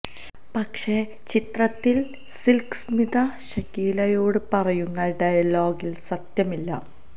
പക്ഷേ ചിത്രത്തിൽ സിൽക്ക് സ്മിത ഷക്കീലയോട് പറയുന്ന ഡയലോഗിൽ സത്യമില്ല